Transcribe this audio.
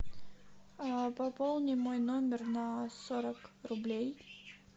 пополни мой номер на сорок рублей